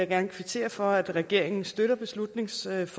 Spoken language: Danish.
gerne kvittere for at regeringen støtter beslutningsforslaget